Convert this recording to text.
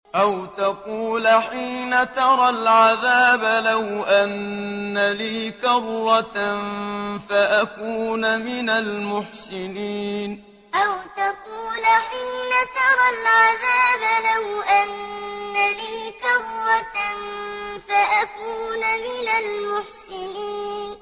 أَوْ تَقُولَ حِينَ تَرَى الْعَذَابَ لَوْ أَنَّ لِي كَرَّةً فَأَكُونَ مِنَ الْمُحْسِنِينَ أَوْ تَقُولَ حِينَ تَرَى الْعَذَابَ لَوْ أَنَّ لِي كَرَّةً فَأَكُونَ مِنَ الْمُحْسِنِينَ